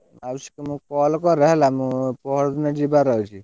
ମାଉସୀ କି ତମେ call କର ହେଲ ମୁଁ ପରଦିନ ଯିବାର ଅଛି।